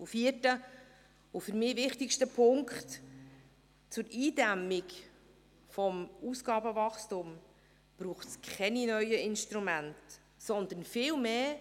Und der vierte und für mich wichtigste Punkt: Zur Eindämmung des Ausgabenwachstums braucht es keine neuen Instrumente, sondern es braucht viel mehr.